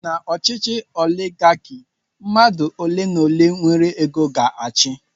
N'ọchịchị oligaki, mmadụ ole n'ole nwere ego ga-achị.